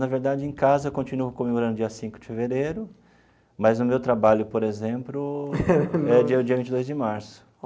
Na verdade, em casa, eu continuo comemorando dia cinco de fevereiro, mas no meu trabalho, por exemplo, é dia vinte e dois de março.